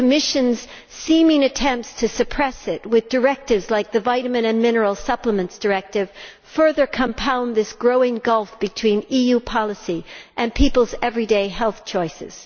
The Commission's apparent attempts to suppress it with directives, like the Vitamin and Mineral Supplements Directive, further compound this growing gulf between EU policy and people's everyday health choices.